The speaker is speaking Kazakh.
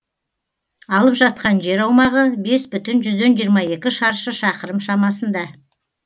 алып жатқан жер аумағы бес бүтін жүзден жиырма екі шаршы шақырым шамасында